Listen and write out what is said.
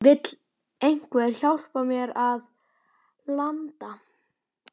Vill einhver hjálpa mér að landa?